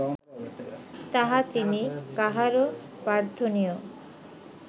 তাহা তিনি কাহারও প্রার্থনীয়